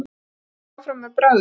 Prófið ykkur áfram með bragðið.